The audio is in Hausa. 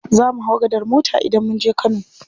Zamu hau gadar mota idan munje kano.